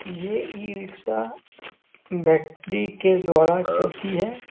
ये e rickshaw battery के द्वारा चलती है।